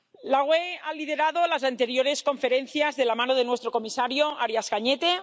La UE ha liderado las anteriores conferencias de la mano de nuestro comisario Arias Cañete.